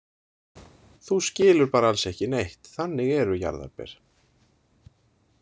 Þú skilur bara alls ekki neitt, þannig eru jarðarber.